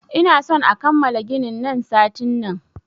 Ina son a kammala ginin nan satin nan!